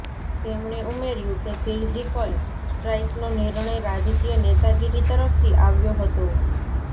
તેમણે ઉમેર્યું કે ર્સિજકલ સ્ટ્રાઇકનો નિર્ણય રાજકીય નેતાગીરી તરફથી આવ્યો હતો